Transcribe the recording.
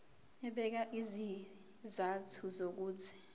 ebeka izizathu zokuthi